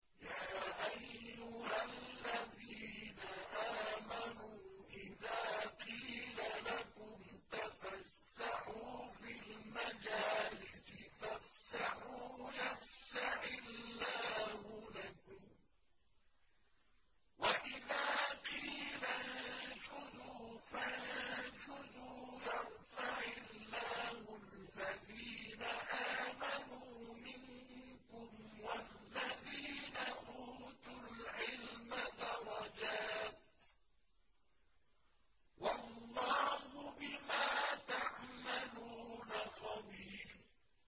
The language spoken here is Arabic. يَا أَيُّهَا الَّذِينَ آمَنُوا إِذَا قِيلَ لَكُمْ تَفَسَّحُوا فِي الْمَجَالِسِ فَافْسَحُوا يَفْسَحِ اللَّهُ لَكُمْ ۖ وَإِذَا قِيلَ انشُزُوا فَانشُزُوا يَرْفَعِ اللَّهُ الَّذِينَ آمَنُوا مِنكُمْ وَالَّذِينَ أُوتُوا الْعِلْمَ دَرَجَاتٍ ۚ وَاللَّهُ بِمَا تَعْمَلُونَ خَبِيرٌ